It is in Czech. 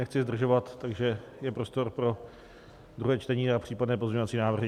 Nechci zdržovat, takže je prostor pro druhé čtení a případné pozměňovací návrhy.